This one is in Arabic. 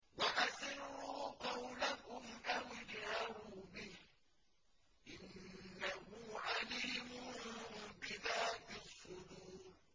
وَأَسِرُّوا قَوْلَكُمْ أَوِ اجْهَرُوا بِهِ ۖ إِنَّهُ عَلِيمٌ بِذَاتِ الصُّدُورِ